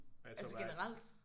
Altså generelt?